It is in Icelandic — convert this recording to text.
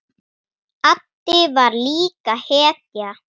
Addi var líka hetja.